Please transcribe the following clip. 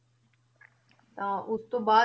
ਤਾਂ ਉਸ ਤੋਂ ਬਾਅਦ,